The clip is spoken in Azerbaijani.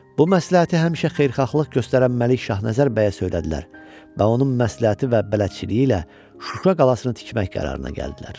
Bu məsləhəti həmişə xeyirxahlıq göstərən Məlik Şahnəzər bəyə söylədilər və onun məsləhəti və bələdçiliyi ilə Şuşa qalasını tikmək qərarına gəldilər.